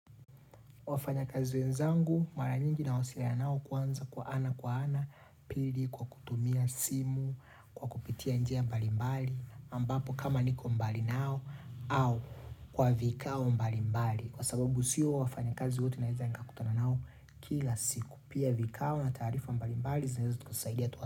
Wafanya kazi wenzangu, mara nyingi na wasiliana nao kwanza ana kwa ana, pili, kwa kutumia simu, kwa kupitia njia mbali mbali, ambapo kama niko mbali nao, au kwa vikao mbali mbali. Kwa sababu siyo wafanya kazi wote naweza nika kutana nao kila siku. Pia vikao na tarifa mbali mbali zinaweza kutusaidia tu.